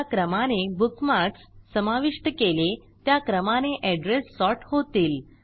ज्या क्रमाने बुकमार्कस समाविष्ट केले त्या क्रमाने एड्रेस सॉर्ट होतील